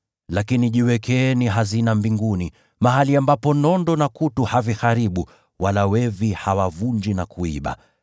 Lakini jiwekeeni hazina mbinguni, mahali ambapo nondo na kutu haviharibu, wala wevi hawavunji na kuiba.